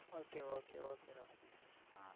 Okay okay okay Roshini